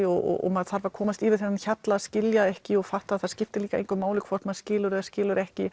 og maður þarf að komast yfir þennan hjalla að skilja ekki og fatta að það skiptir engu máli hvort maður skilur eða skilur ekki